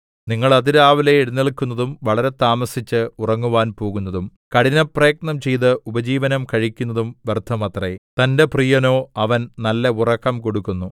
നിങ്ങൾ അതിരാവിലെ എഴുന്നേല്ക്കുന്നതും വളരെ താമസിച്ച് ഉറങ്ങുവാൻ പോകുന്നതും കഠിനപ്രയത്നം ചെയ്ത് ഉപജീവനം കഴിക്കുന്നതും വ്യർത്ഥമത്രേ തന്റെ പ്രിയനോ അവൻ നല്ല ഉറക്കം കൊടുക്കുന്നു